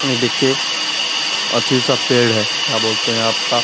ये देखिये अथी का पेड़ है क्या बोलते है आपका --